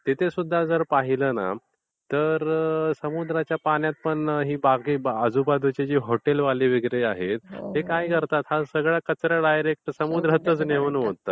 तिथे सुद्धा जर पाहिल ना तर समुद्राच्या पाण्यात पण ही आजूबाजूचे जे हॉटेलवाले वगैरे आहेत ते काय करतात? हा सगळा कचरा डायरेक्ट समुद्रातच नेऊन ओततात.